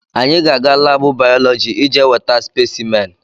Anyị ga-aga laabụ bayọlọji ije weta spesimen.